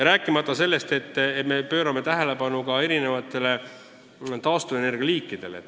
Rääkimata sellest, et me pöörame tähelepanu ka erinevatele taastuvenergia liikidele.